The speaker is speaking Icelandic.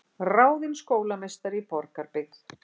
Ráðin skólameistari í Borgarbyggð